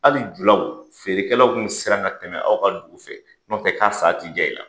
Hali julaw, feerekɛlaw tun bɛ siran ka tɛmɛ aw ka dugu fɛ, n'ɔt ɛ k'a san tɛ diya i la.